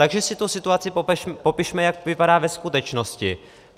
Takže si tu situaci popišme, jak vypadá ve skutečnosti.